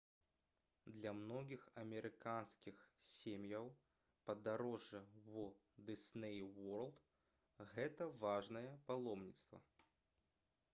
для многіх амерыканскіх сем'яў падарожжа ў «дысней уорлд» — гэта важнае паломніцтва